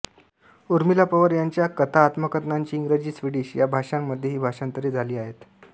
ऊर्मिला पवार यांच्या कथा आत्मकथनाची इंग्रजी स्वीडिश या भाषांमध्येही भाषांतरे झाली आहेत